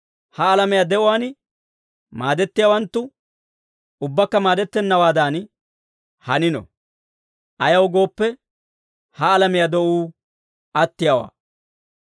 ha alamiyaa de'uwaan maadettiyaawanttu ubbakka maadettennawaadan hanino. Ayaw gooppe, ha alamiyaa de'uu attiyaawaa.